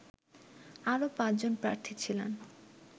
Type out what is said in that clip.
আরও পাঁচজন প্রার্থী ছিলেন